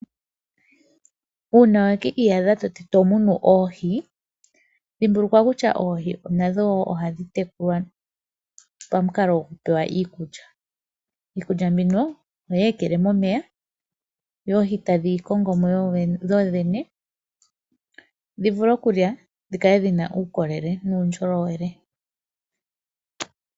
Uuna wa ki iyadha to munu oohi, dhimbulukwa kutya oohi nadho ohadhi tekulwa tadhi pewa iikulya. Iikulya mbino ohoyi ekele momeya dho oohi tadhi yi kongo mo dhodhene dhi vule okulya, dhi kale dhi na uukolele nuundjolowele.